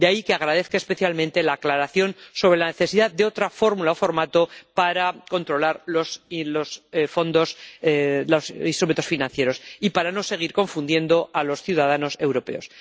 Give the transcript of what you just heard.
De ahí que agradezca especialmente la aclaración sobre la necesidad de otra fórmula o formato para controlar los instrumentos financieros y para no seguir confundiendo a los ciudadanos europeos.